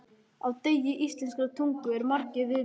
Á degi íslenskrar tungu eru margir viðburðir.